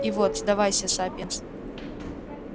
и вот сдавайся сапиенс